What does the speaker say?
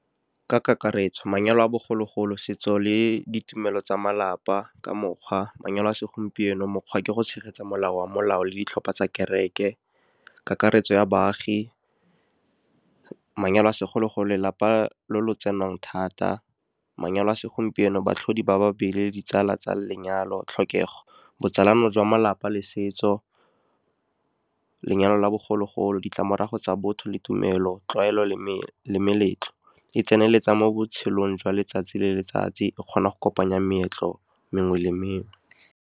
Ka kakaretso, manyalo a bogologolo, setso le ditumelo tsa malapa ka mokgwa. Manyalo a segompieno, mokgwa ke go tshegetsa molao wa molao le ditlhopha tsa kereke. Kakaretso ya baagi, manyalo a segologo, lelapa lo lo tsenang thata. Manyalo a segompieno, baatlhodi ba ba le ditsala tsa lenyalo. Tlhokego botsalano jwa malapa le setso. Lenyalo la bogologolo, ditlamorago tsa botho le tumelo. Tlwaelo le meletlo, e tseneletsa mo botshelong jwa letsatsi le letsatsi, e kgona go kopanya meetlo mengwe le mengwe.